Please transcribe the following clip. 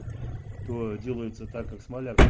делается так как